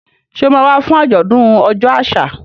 Ṣé o máa wá fún àjọ̀dún ọjọ́ àṣà?